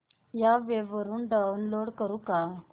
या वेब वरुन डाऊनलोड करू का